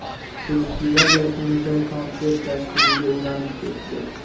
Festival yakunida konsert dasturiga ulanib ketdi.